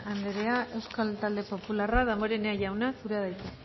anderea euskal talde popularra damborenea jauna zurea da hitza